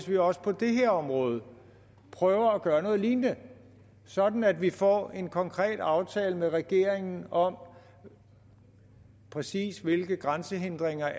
vi også på det her område prøver at gøre noget lignende sådan at vi får en konkret aftale med regeringen om præcis hvilke grænsehindringer